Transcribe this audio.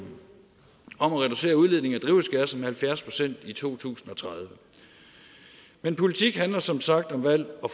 om at reducere udledningen af halvfjerds procent i to tusind og tredive men politik handler som sagt om valg og